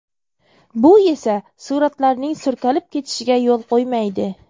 Bu esa suratlarning surkalib ketishiga yo‘l qo‘ymaydi.